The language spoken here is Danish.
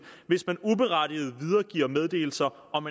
hvis man uberettiget videregiver meddelelser om